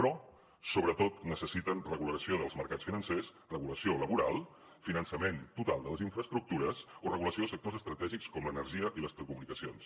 però sobretot necessiten regulació dels mercats financers regulació laboral finançament total de les infraestructures o regulació de sectors estratègics com l’energia i les telecomunicacions